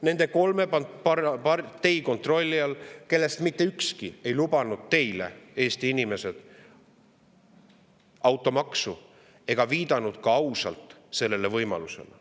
Nende kolme partei kontrolli all, kellest mitte ükski ei lubanud teile, Eesti inimesed, automaksu ega viidanud ausalt sellele kui võimalusele.